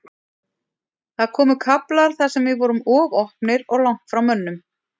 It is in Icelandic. Það komu kaflar þar sem við vorum of opnir og langt frá mönnum.